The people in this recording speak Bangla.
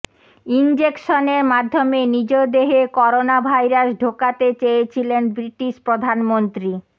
ইঞ্জেকশনের মাধ্যমে নিজ দেহে করোনাভাইরাস ঢোকাতে চেয়েছিলেন ব্রিটিশ প্রধানমন্ত্রী